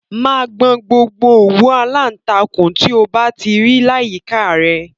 Máa gbọn gbogbo òwú aláǹtakûn tí o bá ti rí láyìíká à rẹ!